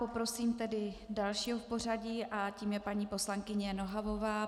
Poprosím tedy dalšího v pořadí a tím je paní poslankyně Nohavová.